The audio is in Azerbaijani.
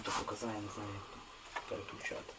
Mən onu necə dəyişəcəyimi bilmirəm.